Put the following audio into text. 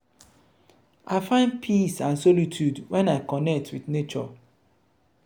i find peace and solitude when i connect with nature.